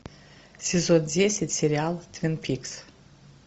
сезон десять сериал твин пикс